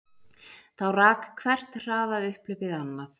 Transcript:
Þá rak hvert hraðaupphlaupið annað